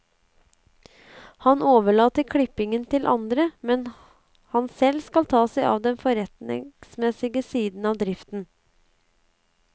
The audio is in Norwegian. Han overlater klippingen til andre, mens han selv skal ta seg av den forretningsmessige siden av driften.